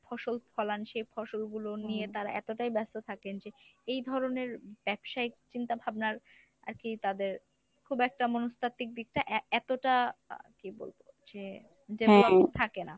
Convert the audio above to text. ফসল ফলান সে ফসলগুলো নিয়ে তারা এতটাই ব্যস্ত থাকেন যে এই ধরনের ব্যবসায়িক চিন্তাভাবনার আরকি তাদের খুব একটা মনস্তাত্ত্বিক দিকটা এ~ এতটা কী বলবো যে থাকে না।